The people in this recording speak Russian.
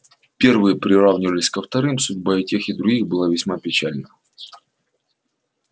первые приравнивались ко вторым судьба и тех и других была весьма печальна